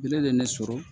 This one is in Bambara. Bere de ye ne sɔrɔ